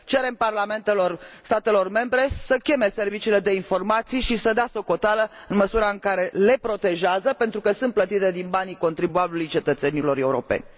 Cerem parlamentelor statelor membre să cheme serviciile de informații și să dea socoteală, în măsura în care le protejează, pentru că sunt plătite din banii contribuabililor, ai cetățenilor europeni.